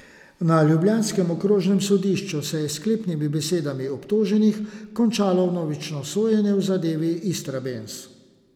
Na ljubljanskem okrožnem sodišču se je s sklepnimi besedami obtoženih končalo vnovično sojenje v zadevi Istrabenz.